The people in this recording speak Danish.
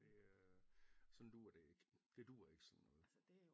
Det øh sådan duer det ikke det duer ikke sådan noget